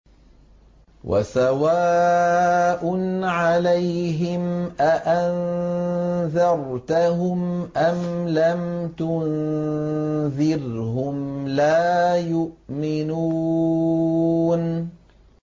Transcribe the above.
وَسَوَاءٌ عَلَيْهِمْ أَأَنذَرْتَهُمْ أَمْ لَمْ تُنذِرْهُمْ لَا يُؤْمِنُونَ